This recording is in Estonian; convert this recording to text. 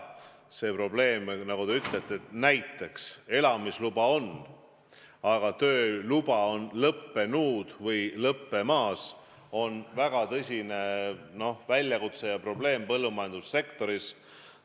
See probleem, nagu te ütlete, et elamisluba on, aga tööluba on lõppenud või lõppemas, on väga tõsine väljakutse ja suur probleem põllumajandussektoris.